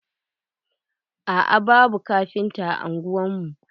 a'a, babu kafinta a ungwar mu.